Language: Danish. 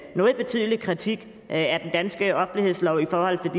noget betydelig kritik af den danske offentlighedslov i forhold